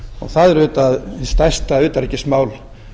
það er auðvitað stærsta utanríkismál